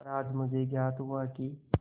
पर आज मुझे ज्ञात हुआ कि